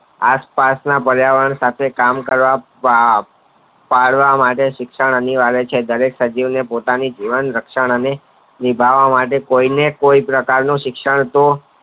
આસપાસ ના પ્રિયવર્ણ ને કામ કરવા વા પાલવ માટે શિક્ષણ અનિવાર્ય છે દરેક સભ્ય ને પોતાની જીવન રક્ષણ અને નિભાવવા માટે કોઈ ને કોઈ પ્રકાર નું શિક્ષણ